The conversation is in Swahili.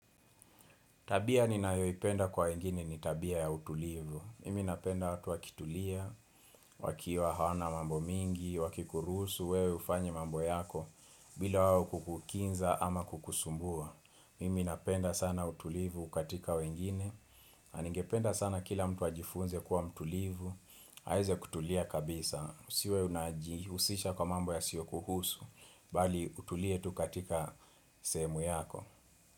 Tabia ninayoipenda kwa wengine ni tabia ya utulivu. Mimi napenda watu wakitulia, wakiwa hawana mambo mingi, wakikuruhusu, wewe ufanye mambo yako, bila wao kukukinza ama kukusumbua. Mimi napenda sana utulivu katika wengine, na ningependa sana kila mtu ajifunze kuwa mtulivu, aweze kutulia kabisa, usiwe unajihusisha kwa mambo yasiyo kuhusu, bali utulietu katika semu yako.